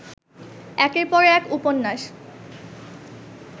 একের পর এক উপন্যাস